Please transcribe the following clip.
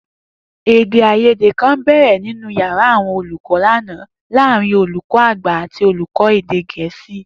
Èdè-àìyédè kan bè̩rè̩ nínú yàrá àwo̩n olùkó̩ lánàá láàárín olùkó̩ àgbà àti olùkó̩ èdè Gè̩é̩sì